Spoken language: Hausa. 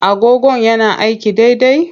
Agogon yana aiki daidai?